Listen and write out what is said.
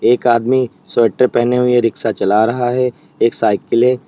एक आदमी स्वेटर पहने हुए रिक्शा चला रहा है एक साइकिल है।